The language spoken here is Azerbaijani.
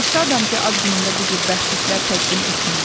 Mən şadam ki, ad günümdə bu cür bəxşişlər təqdim etmirlər.